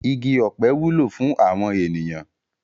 Igi ọ̀pẹ wúlò fún àwọn ènìyàn.